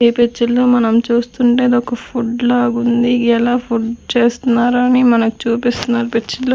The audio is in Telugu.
ఈ పిక్చర్లో మనం చూస్తుంటే ఇది ఒక ఫుడ్ లాగుంది ఎలా ఫుడ్ చేస్తున్నారని మనకు చూపిస్తున్నారు పిక్చర్లో .